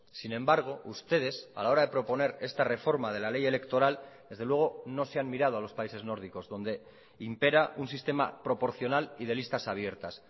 sin embargo ustedes a la hora de proponer esta reforma de la ley electoral desde luego no se han mirado a los países nórdicos donde impera un sistema proporcional y de listas abiertas